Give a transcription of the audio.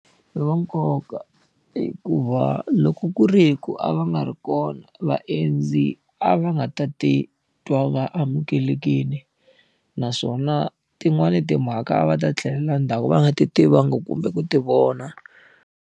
I va nkoka hikuva, loko ku ri hi ku a va nga ri kona vaendzi a va nga ta titwa va amukelekile. Naswona tin'wani timhaka a va ta tlhelela ndzhaku va nga ti tivangi kumbe ku ti vona.